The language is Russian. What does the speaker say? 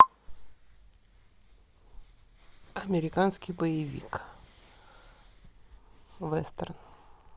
американский боевик вестерн